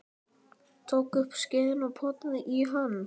Tók upp skeiðina og potaði í hann.